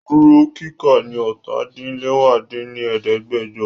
Duro kika ni ọ́ta-din-lẹwá dín ní ẹ̀ẹ́dẹ́gbẹ́jọ!